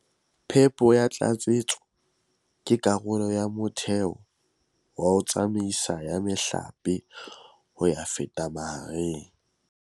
Phepo ya tlatsetso ke karolo ya motheo wa tsamaiso ya mehlape ho ya feta mariheng.